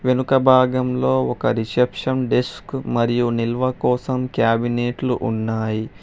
వెనుక భాగంలో ఒక రిసెప్షన్ డిస్క్ మరియు నిల్వ కోసం క్యాబినెట్లు ఉన్నాయి.